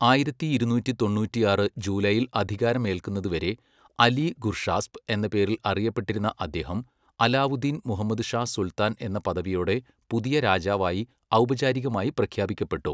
ആയിരത്തി ഇരുനൂറ്റി തൊണ്ണൂറ്റിയാറ് ജൂലൈയിൽ അധികാരമേൽക്കുന്നതുവരെ അലി ഗുർഷാസ്പ് എന്ന പേരിൽ അറിയപ്പെട്ടിരുന്ന അദ്ദേഹം അലാവുദ്ധീൻ മുഹമ്മദ് ഷാ സുൽത്താൻ എന്ന പദവിയോടെ പുതിയ രാജാവായി ഔപചാരികമായി പ്രഖ്യാപിക്കപ്പെട്ടു.